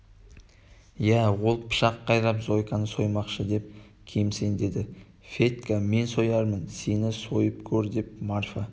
иә ол пышақ қайрап зойканы соймақшы деп кемсеңдеді федька мен соярмын сені сойып көр деп марфа